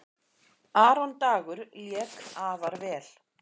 Aron Dagur lék afar vel.